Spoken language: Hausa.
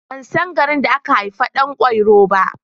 Ban san garin da aka haifi Ɗan kwairo ba.